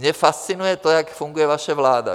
Mě fascinuje to, jak funguje vaše vláda.